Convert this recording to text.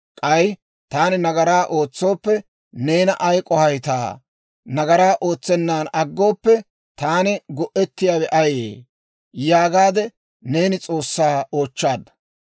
K'ay, ‹Taani nagaraa ootsooppe, neena ay k'ohayttaa? Nagaraa ootsennan aggooppe, taani go'ettiyaawe ayee?› yaagaade neeni S'oossaa oochchaadda.